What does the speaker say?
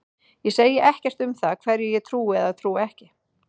Ég segi ekkert um það hverju ég trúi eða trúi ekki.